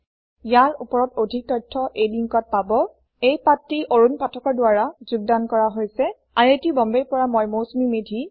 ইয়াৰ ওপৰত অধিক তথ্য এই লিঙ্কত পাব এই পাঠটি অৰুন পাঠকৰ দ্ৱাৰা যোগদান কৰা হৈছে আই আই টি বম্বেৰ পৰা এয়া হৈছে মৌচুমী মেধী